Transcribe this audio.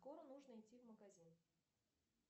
скоро нужно идти в магазин